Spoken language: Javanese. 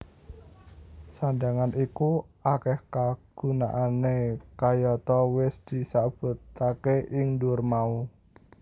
Sandhangan iku akeh kagunaané kayata wis disebautake ing dhuwur mau